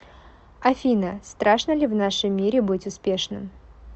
афина страшно ли в нашем мире быть успешным